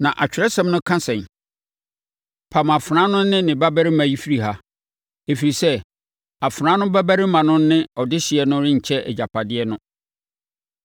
Na Atwerɛsɛm no ka sɛn? “Pam afenaa no ne ne babarima yi firi ha; ɛfiri sɛ, afenaa babarima no ne ɔdehyeɛ no renkyɛ agyapadeɛ no.”